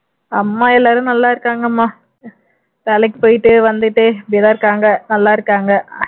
அம்மா எல்லாரும் நல்லா இருக்காங்கமா வேலைக்கு போயிட்டு வந்துட்டு இப்படியேதான் இருக்காங்க நல்லா இருக்காங்க